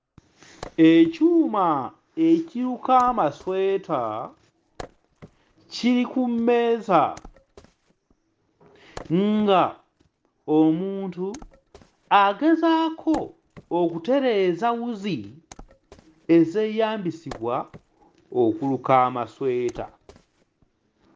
Ekyuma ekiruka amasweta kiri ku mmeeza nga omuntu agezaako okutereeza wuzi ezeeyambisibwa okuluka amasweta.